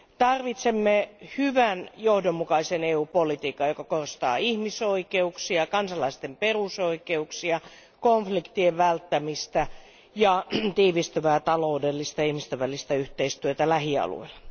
Tarvitsemme hyvän, johdonmukaisen EU politiikan, joka korostaa ihmisoikeuksia, kansalaisten perusoikeuksia, konfliktien välttämistä ja tiivistyvää taloudellista ja ihmisten välistä yhteistyötä lähialueilla.